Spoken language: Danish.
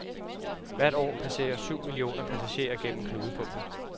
Hvert år passerer syv millioner passagerer gennem knudepunktet.